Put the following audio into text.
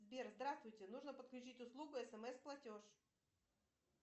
сбер здравствуйте нужно подключить услугу смс платеж